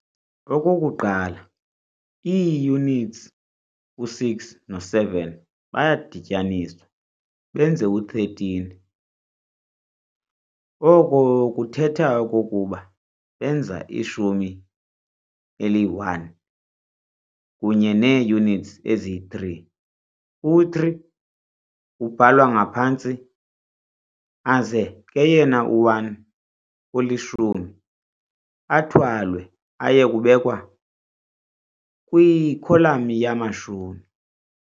Okokuqala ii-units u-6 no-7 bayadityaniswa benze u-13, oko kuthetha okokuba benza ishumi eli-1 kunye nee-units ezi-3, u-3 ubhalwa ngaphantsi aze ke yena u-1 olishumi athwalwe aye kubekwa kwikholam yamashumi.